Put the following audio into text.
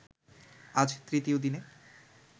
আজ তৃতীয় দিনে